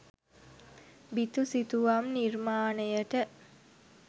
බිතු සිතුවම් නිර්මාණයට